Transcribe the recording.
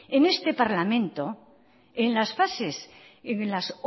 en este parlamento en las